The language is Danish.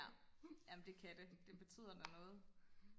ja jamen det kan det det betyder da noget